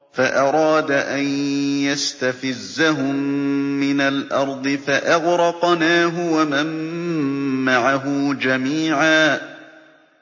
فَأَرَادَ أَن يَسْتَفِزَّهُم مِّنَ الْأَرْضِ فَأَغْرَقْنَاهُ وَمَن مَّعَهُ جَمِيعًا